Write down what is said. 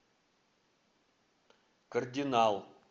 кардинал